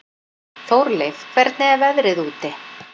Þórleif, hvernig er veðrið úti?